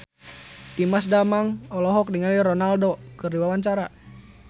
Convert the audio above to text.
Dimas Danang olohok ningali Ronaldo keur diwawancara